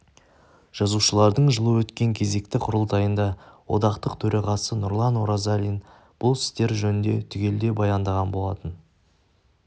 жазушылардың жылы өткен кезекті құрылтайында одақтың төрағасы нұрлан оразалин бұл істер жөнінде түгелдей баяндаған болатын